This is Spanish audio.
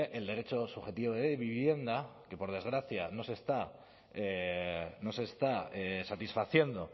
el derecho subjetivo de vivienda que por desgracia no se está satisfaciendo